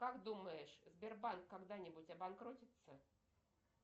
как думаешь сбербанк когда нибудь обанкротится